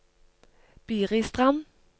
Biristrand